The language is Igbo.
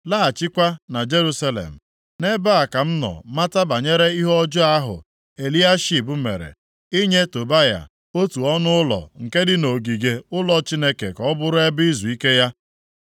laghachikwa na Jerusalem. Nʼebe a ka m nọ mata banyere ihe ọjọọ ahụ Eliashib mere, inye Tobaya otu ọnụụlọ nke dị nʼogige ụlọ Chineke ka ọ bụrụ ebe izuike ya.